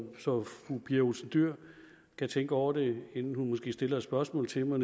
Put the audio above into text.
fru pia olsen dyhr kan tænke over det inden hun måske stiller et spørgsmål til mig